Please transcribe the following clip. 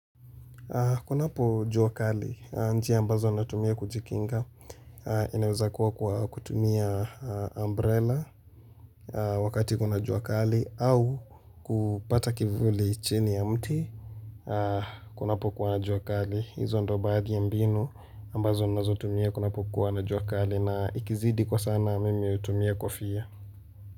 Kuna po juakali, njia ambazo natumia kujikinga, inaweza kuwa kwa kutumia umbrella wakati kuna juakali au kupata kivuli chini ya mti. Kuna po kuwa na juakali, hizo ndo baadi ya mbinu ambazo nazo tumia kunapo kuwa na juakali na ikizidi kwa sana mimi utumia kufia.